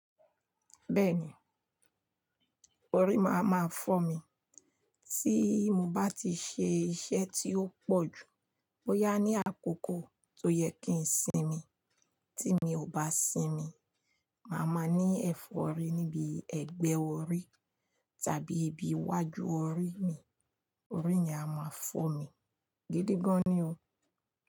Bẹ́ẹ̀ni, orí máa máa fọ́ mi. Tí mo bá ti ṣe iṣẹ́ tí ó pọ̀ jù, ó yá ní àkókò tó yẹ kí ń sinmi. Tí mi ò bá sinmi, màá máa ní ẹ̀fọ́rí níbi ẹgbẹ́ orí tàbí ibi iwájú orí mi. Orí mi a máa fọ́ mi gidi gan ni o.